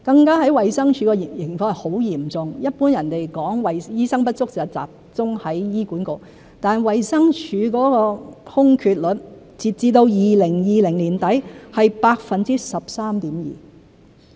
在衞生署的情況更加嚴重，一般人說醫生不足是集中在醫管局，但衞生署的空缺率，截至2020年年底是 13.2%。